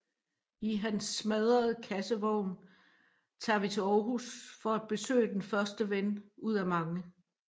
I hans smadrede kassevogn tager vi til Aarhus for at besøge den første ven ud af mange